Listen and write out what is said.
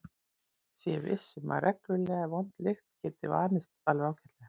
Sé viss um að reglulega vond lykt geti vanist alveg ágætlega.